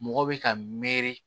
Mɔgɔ bɛ ka meri